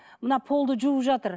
мына полды жуып жатыр